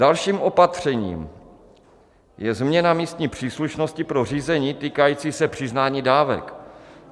Dalším opatřením je změna místní příslušnosti pro řízení týkající se přiznání dávek.